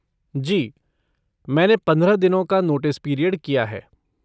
जी, मैंने पंद्रह दिनों का नोटिस पीरियड किया है।